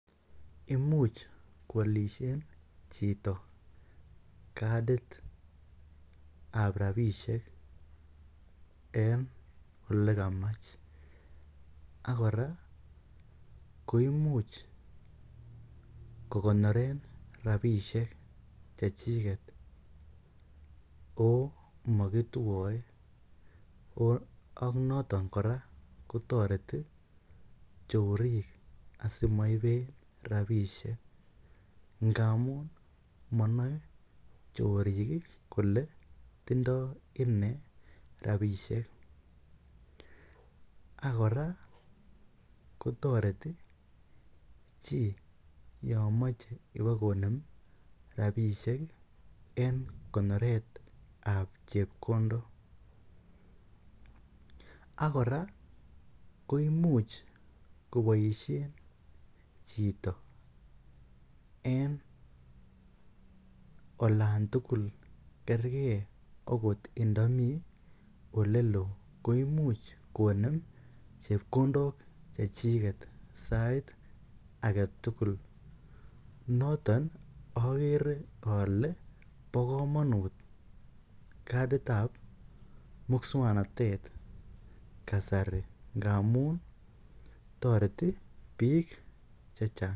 Imuch koalishen chito kadit ab rabishek en ole kamach ak kora koimuch kogonoren rabishek che chiget o mogitwoe. AK noton kora kotoreti chorik asimoiben rabishek ngamun monoe chorik kole tindo ine rabishek. Ak kora kotoreti chi yon moche ibakonem rabishek en konet ab chepkondok ak kora koimuch koboisien chito en olan tugul kerge ogot ndo mi ole lo koimuch konem chepkondok chechiget sait age tugul noton ogere ole bo komonut kadit ab muswaknatet kasari ngamun toreti biik che chang.